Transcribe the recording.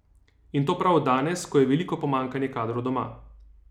In to prav danes, ko je veliko pomanjkanje kadrov doma.